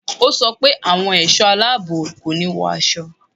Ó sọ pé àwọn ẹ̀ṣọ́ aláàbò kò ní wọ aṣọ